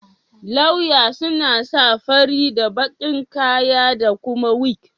Lauya suna sa fari da baki'n kaya da kuma wig.